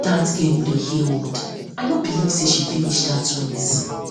dat girl no dey hear word oo i no believe say she finish finish dat race